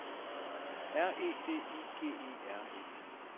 R E D I G E R E